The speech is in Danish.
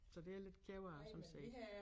Så det er jeg lidt ked af sådan set